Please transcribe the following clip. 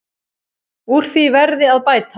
Úr því verði að bæta.